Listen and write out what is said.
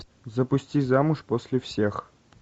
запусти замуж после всех